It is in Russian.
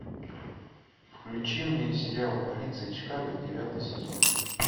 включи мне сериал полиция чикаго девятый сезон